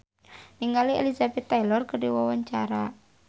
Epy Kusnandar olohok ningali Elizabeth Taylor keur diwawancara